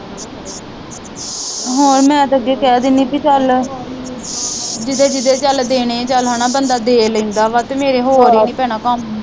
ਹੋਰ ਮੈ ਤੇ ਅੱਗੇ ਕਹਿ ਦਿਨੀ ਪੀ ਚਲ ਜਿਹਦੇ ਜਿਹਦੇ ਚਲ ਦੇਣੇ ਚਲ ਹੈਨਾ ਬੰਦਾ ਦੇ ਲੈਂਦਾ ਵਾ ਤੇ ਤੇ ਮੇਰੇ ਹੋਰ ਈ ਨਹੀਂ ਭੈਣਾਂ ਕੰਮ